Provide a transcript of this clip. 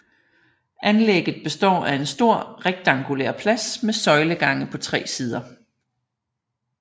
Anlægget består af en stor rektangulær plads med søjlegange på tre sider